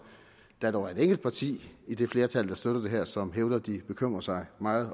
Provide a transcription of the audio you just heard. der dog er et enkelt parti i det flertal der støtter det her som hævder at de bekymrer sig meget